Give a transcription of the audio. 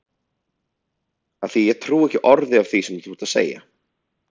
Af því að ég trúi ekki orði af því sem þú ert að segja.